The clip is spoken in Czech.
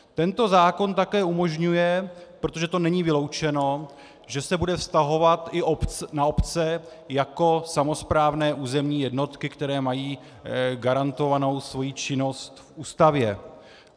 Tento zákon také umožňuje, protože to není vyloučeno, že se bude vztahovat i na obce jako samosprávné územní jednotky, které mají garantovanou svoji činnost v Ústavě.